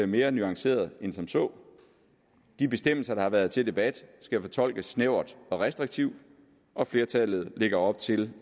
mere nuanceret end som så de bestemmelser der har været til debat skal fortolkes snævert og restriktivt og flertallet lægger op til